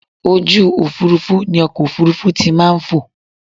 Ojú òfurufú ni ọkọ̀ òfurufú ti maa n fò